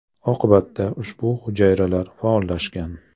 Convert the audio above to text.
Oqibatda ushbu hujayralar faollashgan.